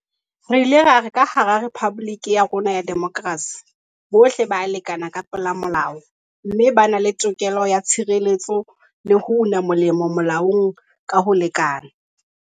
Re ile ra re ka hara rephaboliki ya rona ya demokrasi, bohle ba ya lekana ka pela molao mme ba na le tokelo ya tshireletso le ho una molemo molaong ka ho lekana.